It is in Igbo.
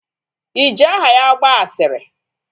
Iji aha ya gbaa asịrị?